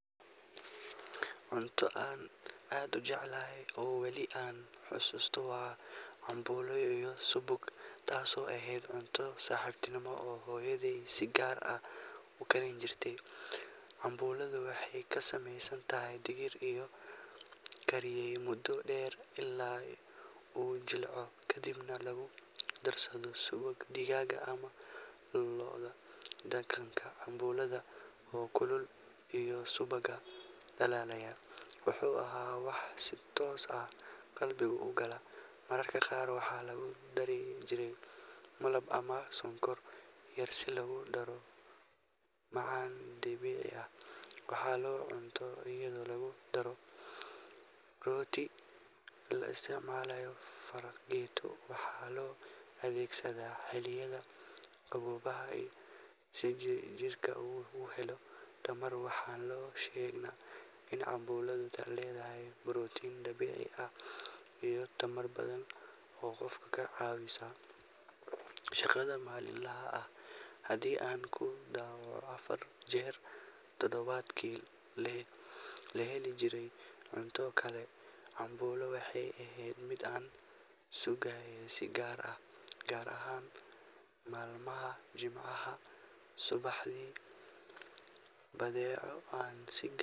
Cunto aan aad u jeclaa oo weli aan xusuusto waa cambuulo iyo subag, taasoo ahayd cunto subaxnimo oo hooyaday si gaar ah u karin jirtay. Cambuuladu waxay ka samaysan tahay digir la kariyay muddo dheer ilaa uu jilco, kadibna lagu darsado subag digaag ama lo’aad. Dhadhanka cambuulada oo kulul iyo subagga dhalaalaya wuxuu ahaa wax si toos ah qalbiga u gala. Mararka qaar waxaa lagu dari jiray malab ama sonkor yar si loogu daro macaan dabiici ah. Waxaa la cunaa iyadoo lagu daro rooti ama la isticmaalayo fargeeto, waxaana loo adeegsadaa xilliyada qaboobaha si jirka uu u helo tamar. Waxaana la sheegaa in cambuuladu leedahay borotiin dabiici ah iyo tamar badan oo qofka ka caawisa shaqada maalinlaha ah. Haddii aan ku dhawaad afar jeer toddobaadkii la heli jiray cunto kale, cambuulo waxay ahayd mid aan sugayay si gaar ah, gaar ahaan maalmaha Jimcaha subaxdii. Badeeco aan si.